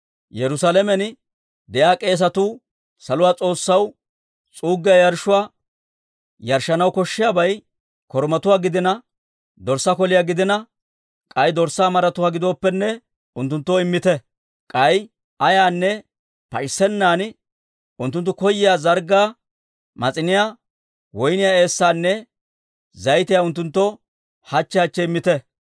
Yerusaalamen de'iyaa k'eesatuu saluwaa S'oossaw s'uuggiyaa yarshshuwaa yarshshanaw koshshiyaabay korumatuwaa gidina, dorssaa koliyaa gidina k'ay dorssaa maratuwaa gidooppenne unttunttoo immite. K'ay ayaanne pac'issennan unttunttu koyyiyaa zarggaa, mas'iniyaa, woyniyaa eessaanne zayitiyaa unttunttoo hachche hachche immite.